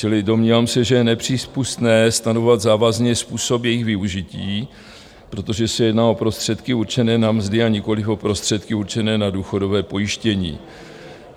Čili domnívám se, že je nepřípustné stanovovat závazný způsob jejich využití, protože se jedná o prostředky určené na mzdy, a nikoliv o prostředky určené na důchodové pojištění.